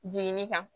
Jiginni kan